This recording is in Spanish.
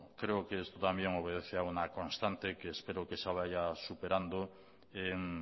creo que esto también obedece a una constante que espero que se vaya superando en